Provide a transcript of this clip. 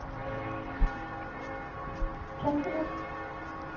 Kastelev